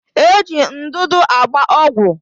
Eji ndụdụ agba ọgwụ